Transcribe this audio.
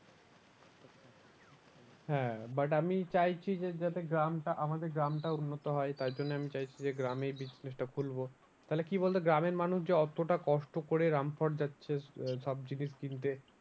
হ্যাঁ but আমি চাইছি যে যাতে গ্রামটা আমাদের গ্রামটা উন্নত হয় তার জন্য আমি চাইছি যে গ্রামে business টা খুলবো, তাহলে কি বলতো গ্রামের মানুষ অতটা কষ্ট করে রামপুরহাট যাচ্ছে আহ সব জিনিস কিনতে।